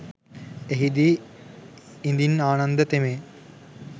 එහිදී ඉදින් ආනන්ද තෙමේ